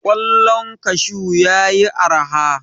Ƙwallon kashu ya yi araha.